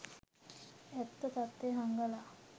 ඇත්ත තත්වය හංගලා